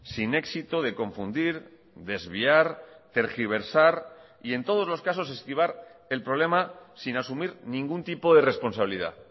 sin éxito de confundir desviar tergiversar y en todos los casos esquivar el problema sin asumir ningún tipo de responsabilidad